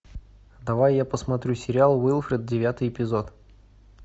давай я посмотрю сериал уилфред девятый эпизод